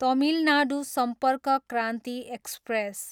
Tamil Nadu Sampark Kranti express